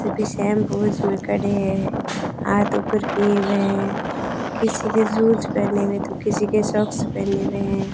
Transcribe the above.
सभी same pose में खड़े हैं हाथ ऊपर किए हुए हैं किसी के शूज़ पहने हुए हैं तो किसी के सॉक्स पहने हुए हैं।